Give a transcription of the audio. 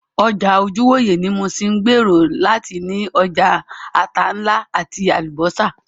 Ọjà ojúwòyẹ̀ ní Muṣin ń gbèrò láti ní ọjà ata ńlá àti Àlùbọ́sà